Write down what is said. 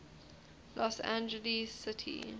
los angeles city